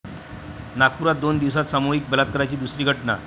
नागपुरात दोन दिवसांत सामूहिक बलात्काराची दुसरी घटना